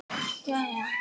Elsku Jói minn.